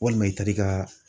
ƆWalima i taar'i ka